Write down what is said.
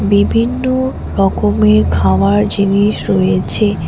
বিভিন্ন রকমের খাওয়ার জিনিস রয়েছে।